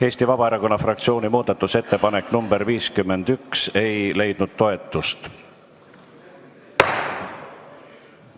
Eesti Vabaerakonna fraktsiooni muudatusettepanek nr 51 ei leidnud toetust.